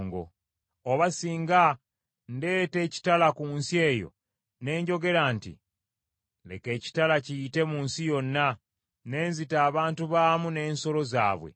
“Oba singa ndeeta ekitala ku nsi eyo ne njogera nti, ‘Leka ekitala kiyite mu nsi yonna,’ ne nzita abantu baamu n’ensolo zaabwe,